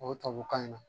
O tubabukan in na